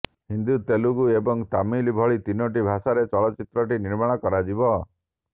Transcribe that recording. ହିନ୍ଦୀ ତେଲଗୁ ଏବଂ ତାମିଲ ଭଳି ତିନୋଟି ଭାଷାରେ ଚଳଚ୍ଚିତ୍ରଟି ନିର୍ମାଣ କରାଯିବ